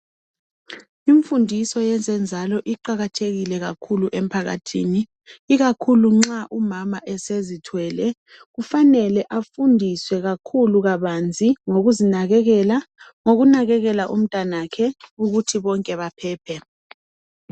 Imfundiso yezenzalo iqakathekile kakhulu emphakathini ikakhulu nxa umama esezithwele kufanelwe afundiswe kakhulu kabanzi ngokuzinakekela ngokunakekela umntanakhe ukuthi bonke bephephe.